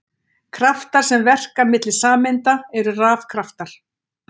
Kraftar sem verka milli sameinda eru rafkraftar.